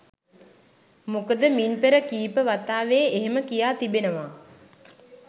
මොකද මින් පෙර කීප වතාවේ එහෙම කියා තිබෙනවා.